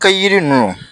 Kɛ yiri ninnu